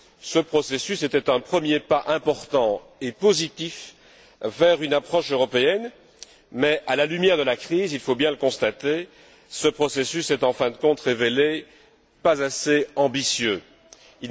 Ce processus était un premier pas important et positif vers une approche européenne mais, à la lumière de la crise, il faut bien le constater, ce processus ne s'est pas révélé assez ambitieux en fin de compte.